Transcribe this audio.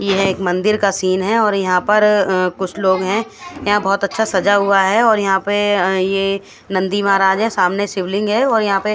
यहाँ एक मंदिर का सीन है और यहाँ पर कुछ लोग है याहा पर बोहोत अच्छा सजा हुआ है और यह पर ये नंदी महाराज है सामने शिवलिंग है और यहाँ पे--